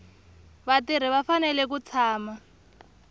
vatirhi va fanele ku tshama